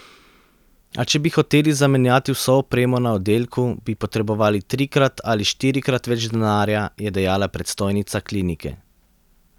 A če bi hoteli zamenjati vso opremo na oddelku, bi potrebovali trikrat ali štirikrat več denarja, je dejala predstojnica klinike.